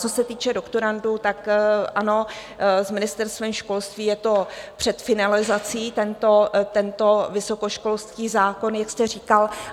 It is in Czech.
Co se týče doktorandů, tak ano, s Ministerstvem školství je to před finalizací, tento vysokoškolský zákon, jak jste říkal.